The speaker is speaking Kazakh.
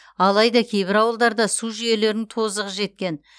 алайда кейбір ауылдарда су жүйелерінің тозығы жеткен